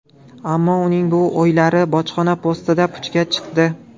Ammo uning bu o‘ylari bojxona postida puchga chiqdi.